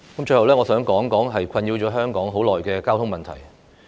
最後，我想談談困擾香港很久的交通問題。